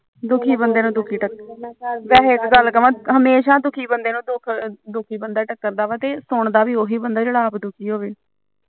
ਦੁਖੀ ਬੰਦੇ ਨੂੰ ਦੁਖੀ ਬੰਦਾ ਟਕਰਦਾ ਵੈਸੇ ਇੱਕ ਗਲ ਕਮਾ ਹਮੇਸ਼ਾ ਦੁਖੀ ਬੰਦੇ ਨੂੰ ਦੁਖੀ ਬੰਦਾ ਟੱਕਰਦਾ ਵਾ ਤੇ ਸੁਣਦਾ ਵੀ ਉਹੀ ਬੰਦਾ ਜਿਹੜਾ ਆਪ ਦੁਖੀ ਹੋਵੇ ਆਹੋ